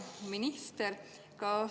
Hea minister!